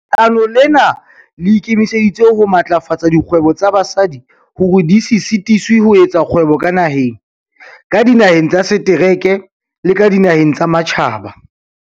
"Leano lena le ikemiseditse ho matlafatsa dikgwebo tsa basadi hore di se sitiswe ho etsa kgwebo ka naheng, ka dinaheng tsa setereke le ka dinaheng tsa matjhaba."